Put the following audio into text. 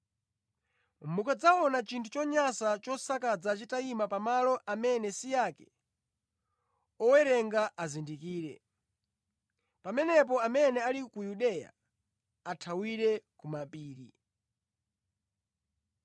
“Mukadzaona ‘chinthu chonyansa chosakaza’ chitayima pa malo amene si ake, owerenga azindikire. Pamenepo amene ali ku Yudeya athawire kumapiri.